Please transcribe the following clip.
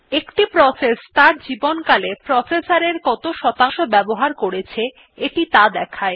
একটি প্রসেস ত়ার জীবনকালে প্রসেসর এর কত শতাংশ বাবহার করেছে এটি ত়া দেখায়